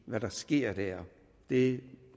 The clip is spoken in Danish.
hvad der sker der det